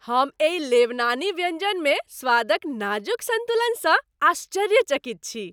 हम एहि लेबनानी व्यंजनमे स्वादक नाजुक संतुलनसँ आश्चर्यचकित छी।